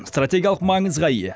стратениялық маңызға ие